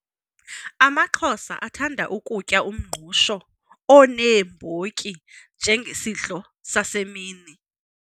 AmaXhosa athanda kutya umngqusho oneembotyi njengesidlo sasemini.